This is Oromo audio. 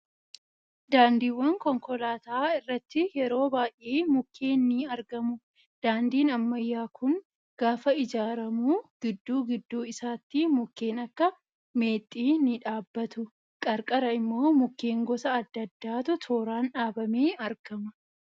Daandiiwwan konkolaataa irratti yeroo baay'ee mukkeen ni argamu. Daandiin ammayyaa kun gaafa ijaaramu gidduu gidduu isaatti mukken akka meexxii ni dhaabbatu. Qarqara immoo mukkeen gosa adda addaatu tooraan dhaabamee argama.